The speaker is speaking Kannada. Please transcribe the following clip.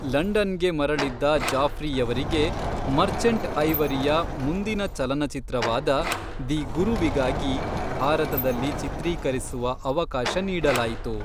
ಲಂಡನ್ಗೆ ಮರಳಿದ್ದ ಜಾಫ್ರಿಯವರಿಗೆ ಮರ್ಚೆಂಟ್ ಐವರಿಯ ಮುಂದಿನ ಚಲನಚಿತ್ರವಾದ "ದಿ ಗುರು"ವಿಗಾಗಿ ಭಾರತದಲ್ಲಿ ಚಿತ್ರೀಕರಿಸುವ ಅವಕಾಶ ನೀಡಲಾಯಿತು.